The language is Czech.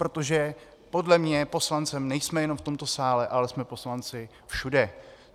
Protože podle mě poslanci nejsme jenom v tomto sále, ale jsme poslanci všude.